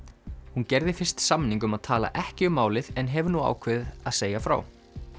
hún gerði fyrst samning um að tala ekki um málið en hefur nú ákveðið að segja frá